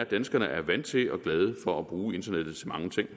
at danskerne er vant til og glade for at bruge internettet til mange ting